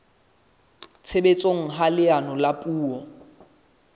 tshebetsong ha leano la puo